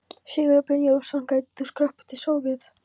Sigurður Brynjólfsson: gætir þú skroppið til Sovét?